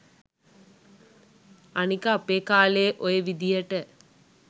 අනික අපේ කාලේ ඔය විදියට